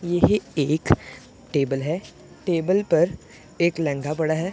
यह एक टेबल है टेबल पर एक लहंगा पड़ा है।